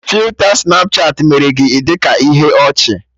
Filta Snapchatị mere gị ị dị ka ihe ọchị